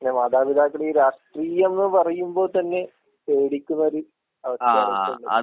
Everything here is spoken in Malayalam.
പിന്നെ മാതാപിതാക്കളീ രാഷ്ട്രീയംന്ന് പറയുമ്പോ തന്നെ പേടിക്കുന്നൊര് അവസ്ഥയിലാ ഇപ്പൊള്ളെ.